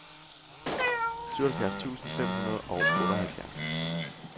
syvoghalvfjerds tusind fem hundrede og otteoghalvfjerds